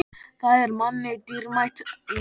Það er manni dýrmætt núna.